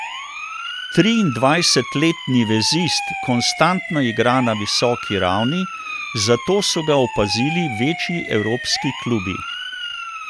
Triindvajsetletni vezist konstantno igra na visoki ravni, zato so ga opazili večji evropski klubi.